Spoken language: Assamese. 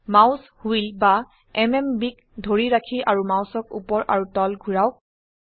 মাউস হুইল বা MMBক ধৰি ৰাখি আৰু মাউসক উপৰ আৰু তল ঘোৰাওক